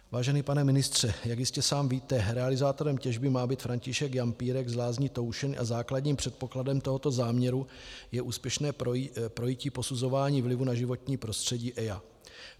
Vážený pane ministře, jak jistě sám víte, realizátorem těžby má být František Jampílek z Lázní Toušeň a základním předpokladem tohoto záměru je úspěšné projití posuzování vlivu na životní prostředí EIA.